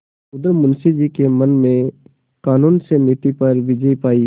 उधर मुंशी जी के मन ने कानून से नीति पर विजय पायी